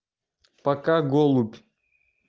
пока голубь